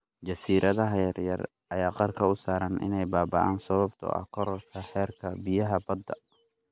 Jasiiradaha yar yar ayaa qarka u saaran inay baaba�aan sababtoo ah kororka heerka biyaha badda.